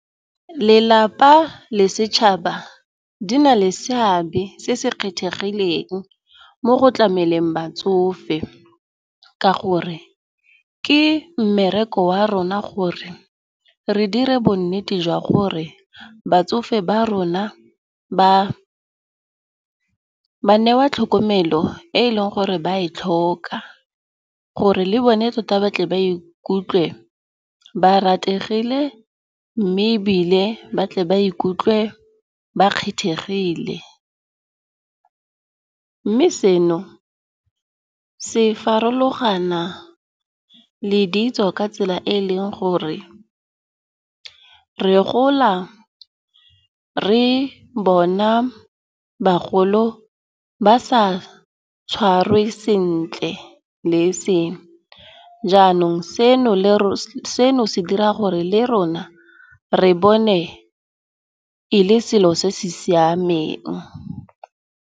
Lelapa le setšhaba di na le seabe se se kgethegileng mo go tlameleng batsofe, ka gore ke mmereko wa rona gore re dire bonnete jwa gore batsofe ba rona ba newa tlhokomelo e e leng gore ba e tlhoka. Gore le bone tota batle ba ikutlwe ba rategile mme ebile ba tle ba ikutlwe ba kgethegile. Mme seno se farologana le ditso ka tsela e e leng gore re gola re bona bagolo ba sa tshwarwe sentle le seno, jaanong se dira gore le rona re bone e le selo se se siameng.